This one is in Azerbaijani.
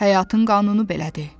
Həyatın qanunu belədir.